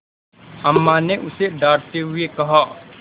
अम्मा ने उसे डाँटते हुए कहा